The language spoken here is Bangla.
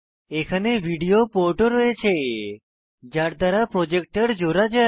এখানে ভিডিও পোর্টও রয়েছে যার দ্বারা প্রজেক্টর জোড়া যায়